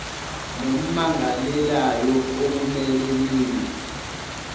nommangalelayo okumele niye